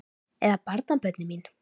Eða barnabörnin mín?